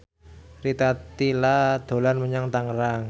Rita Tila dolan menyang Tangerang